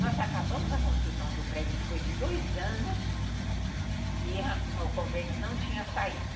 Nós acabamos a construção do prédio depois de dois anos ãh e o convênio não tinha saído.